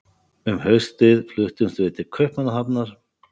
Um haustið fluttumst við til Kaupmannahafnar.